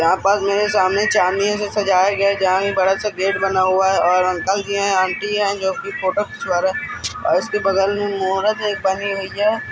यहाँ पास मेरे सामने चनियों से सजाया गया। जहां बड़ा सा गेट हुआ है और अंकल जी है आंटी है जोकि फोटो खिचवा रहे और इसके बगल में मूरत एक बनी हुई है।